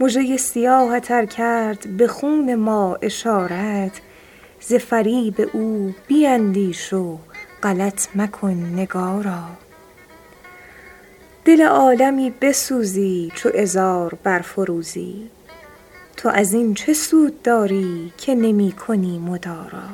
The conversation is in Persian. مژه ی سیاهت ار کرد به خون ما اشارت ز فریب او بیندیش و غلط مکن نگارا دل عالمی بسوزی چو عذار برفروزی تو از این چه سود داری که نمی کنی مدارا